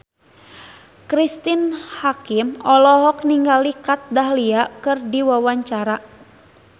Cristine Hakim olohok ningali Kat Dahlia keur diwawancara